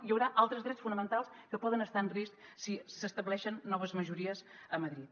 hi haurà altres drets fonamentals que poden estar en risc si s’estableixen noves majories a madrid